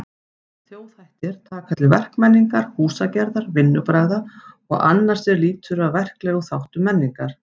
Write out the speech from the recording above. Þjóðhættir taka til verkmenningar, húsagerðar, vinnubragða og annars er lýtur að verklegum þáttum menningar.